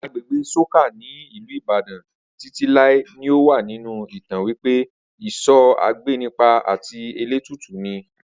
Agbègbè sókà ní ìlú Ìbàdàn Títí láé ni ọ wá nínú ìtàn wípé iso agbénipa àti elétùtù ni